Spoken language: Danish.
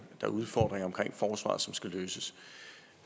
er udfordringer i forsvaret som skal løses